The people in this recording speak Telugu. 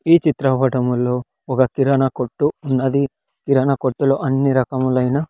ఈ చిత్రపటములో ఒక కిరణ కొట్టు ఉన్నది కిరణ కొట్టులో అన్ని రకములైన.